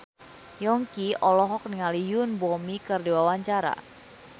Yongki olohok ningali Yoon Bomi keur diwawancara